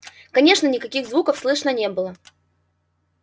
конечно никаких звуков слышно не было